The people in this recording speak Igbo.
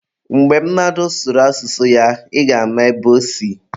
Mgbe mmadụ sụrụ asụsụ ya, ị ga-ama ebe osi.